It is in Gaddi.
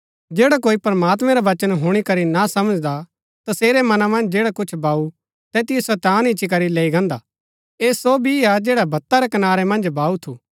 जैडा कोई प्रमात्मैं रा वचन हुणी करी ना समझदा तसेरै मना मन्ज जैडा कुछ बाऊ तैतिओ शैतान इच्ची करी लैई गान्दा ऐह सो बी हा जैडा बत्ता रै कनारै मन्ज बाऊ थु